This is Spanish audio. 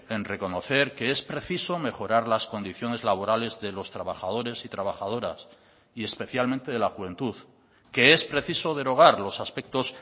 en reconocer que es preciso mejorar las condiciones laborales de los trabajadores y trabajadoras y especialmente de la juventud que es preciso derogar los aspectos